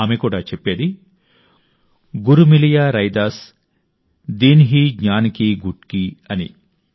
ఆమె కూడా చెప్పేది గురు మిలియా రైదాస్ దీన్హీ జ్ఞాన్ కీ గుట్కీ అని